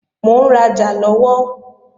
Mò ń rajà lọ́wọ́